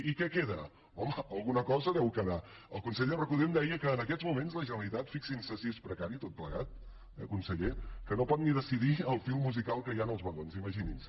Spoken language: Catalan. i què queda home alguna cosa deu quedar el conseller recoder em deia que en aquests moments la generalitat fixin se si és precari tot plegat eh conseller no pot ni decidir el fil musical que hi ha en els vagons imaginin se